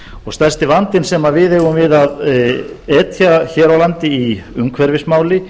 og stærsti vandinn sem við eigum við að etja hér á landi í umhverfismálum